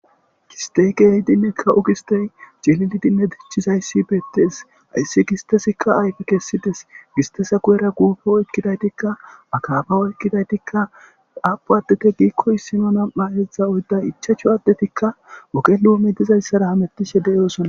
Gisteekehidinnekka ogistey ciliidinne dichizayssi beettees ayssi gistesikka ayfi kessides gistesa kuyera kuufe oykkidaytikka makaaba oykkidaytikka aapu addete giikko issimo nam'a hedzdza oydda ichacho addetikka wokenuome dizayssara hamettishe de'yosona.